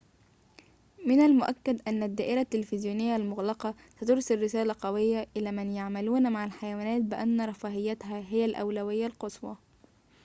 من المؤكد أن الدائرة التلفزيونية المغلقة سترسل رسالة قوية إلى من يعملون مع الحيوانات بأن رفاهيتها هي الأولوية القصوى